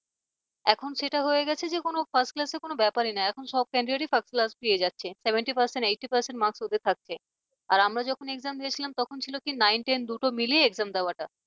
এখন সেটা হয়ে গেছে যে কোন first class র কোন ব্যাপারই না এখন সব candidate টি first class পেয়ে যাচ্ছে। seventy percent, eighty percent marks ওদের থাকছে আর আমরা যখন exam দিয়েছিলাম তখন ছিল কি nine ten দুটো মিলিয়ে exam দেওয়াটা